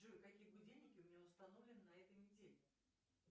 джой какие будильники у меня установлены на этой неделе